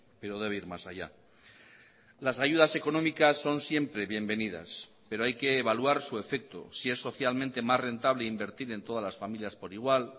pero debe ir más allá las ayudas económicas son siempre bienvenidas pero hay que evaluar su efecto si es socialmente más rentable invertir en todas las familias por igual